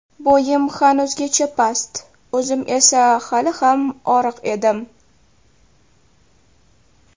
Bo‘yim hanuzgacha past, o‘zim esa hali ham oriq edim.